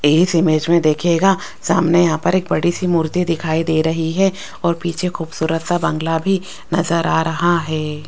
इस इमेज में देखिएगा सामने यहां पर एक बड़ी सी मूर्ति दिखाई दे रही है और पीछे खूबसूरत सा बंगला भी नजर आ रहा है।